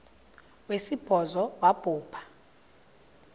wesibhozo wabhu bha